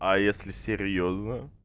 а если серьёзно